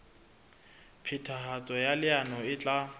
phethahatso ya leano e tla